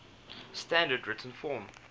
standard written form